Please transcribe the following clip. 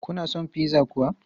Kuna son pizza kuwa?